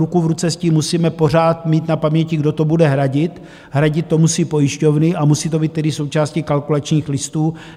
Ruku v ruce s tím musíme pořád mít na paměti, kdo to bude hradit - hradit to musí pojišťovny, a musí to být tedy součástí kalkulačních listů.